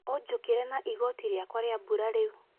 Ũjikĩra na igoti riakwa ria mbura rĩu.